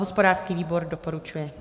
Hospodářský výbor doporučuje.